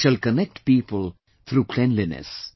We shall connect people through cleanliness